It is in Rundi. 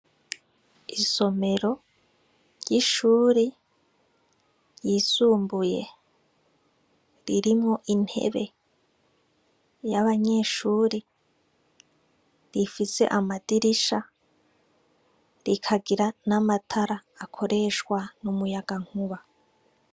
Isomero ry'ishure ry'isumbuye, ririmwo intebe y'abanyeshure ifise amadirisha rikagira n'amatara akoreshwa n'umuyagankuba.